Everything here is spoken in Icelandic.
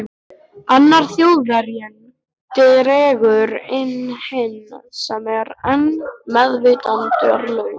Annar Þjóðverjinn dregur inn hinn sem er enn meðvitundarlaus.